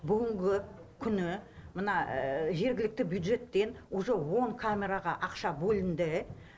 жергілікті бюджеттен уже он камераға ақша бөлінді